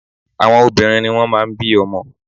Àwọn obìnrin ni wọ́n máà ń bí ọmọ.